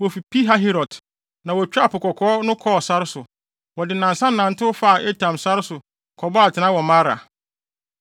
Wofi Pihahirot, na wotwaa Po Kɔkɔɔ no kɔɔ sare so. Wɔde nnansa nantew faa Etam sare so kɔbɔɔ atenae wɔ Mara.